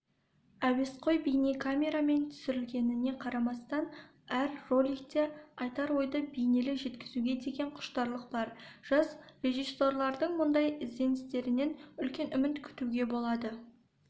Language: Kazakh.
әуесқой бейнекамерамен түсірілгеніне қарамастан әр роликте айтар ойды бейнелі жеткізуге деген құштарлық бар жас режиссерлардың мұндай ізденістерінен үлкен үміт күтуге болады